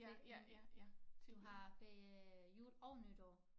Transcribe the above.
Ferie du har ferie jul og nytår